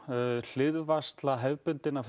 hliðvarsla hefðbundinnar